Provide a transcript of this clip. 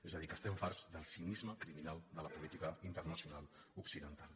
és a dir que estem farts del cinisme criminal de la política internacional occidental